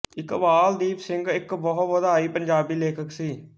ਇਕਬਾਲ ਦੀਪ ਸਿੰਘ ਇੱਕ ਬਹੁ ਵਿਧਾਈ ਪੰਜਾਬੀ ਲੇਖਕ ਸੀ